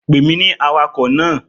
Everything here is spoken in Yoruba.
Pè mí ní awakọ̀ náà!